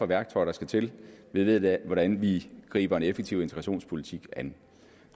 værktøjer der skal til vi ved hvordan vi griber en effektiv integrationspolitik an